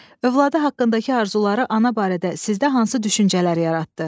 Övladı haqqındakı arzuları ana barədə sizdə hansı düşüncələr yaratdı?